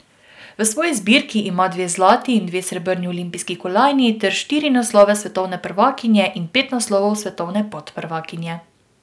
V svoji zbirki ima dve zlati in dve srebrni olimpijski kolajni ter štiri naslove svetovne prvakinje in pet naslovov svetovne podprvakinje.